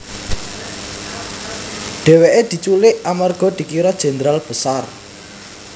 Dhèwèkè diculik amarga dikira Jenderal Besar